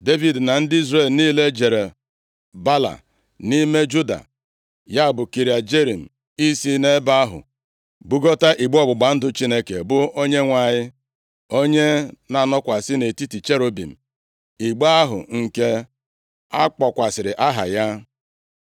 Devid na ndị Izrel niile jere Baala nʼime Juda, ya bụ Kiriat Jearim, i si nʼebe ahụ bugota igbe ọgbụgba ndụ Chineke, bụ Onyenwe anyị, onye na-anọkwasị nʼetiti cherubim, igbe ahụ nke akpọkwasịrị aha ya.